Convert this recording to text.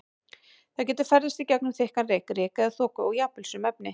Það getur ferðast í gegnum þykkan reyk, ryk eða þoku og jafnvel sum efni.